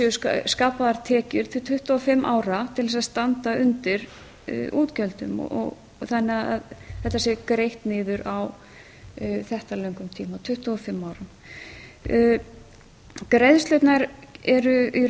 séu skapaðar tekjur til tuttugu og fimm ára til þess að standa undir útgjöldum þannig að þetta sé greitt niður á þetta löngum tíma tuttugu og fimm árum greiðslurnar eru í